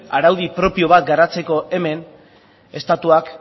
araudi propio bat garatzeko hemen estatuak